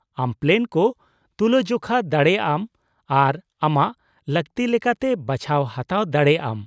-ᱟᱢ ᱯᱞᱮᱱ ᱠᱚ ᱛᱩᱞᱟᱹᱼᱡᱚᱠᱷᱟ ᱫᱟᱲᱮᱭᱟᱜᱼᱟᱢ ᱟᱨ ᱟᱢᱟᱜ ᱞᱟᱠᱛᱤ ᱞᱮᱠᱟᱛᱮ ᱵᱟᱪᱷᱟᱣ ᱦᱟᱛᱟᱣ ᱫᱟᱲᱮᱭᱟᱜᱼᱟᱢ ᱾